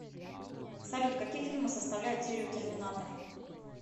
салют какие фильмы составляют серию терминатор